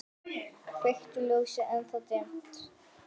Kveiki ljósið, ennþá dimmt.